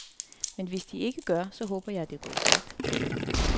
Men hvis de ikke gør, så håber jeg, at det er gået stærkt.